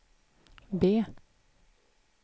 B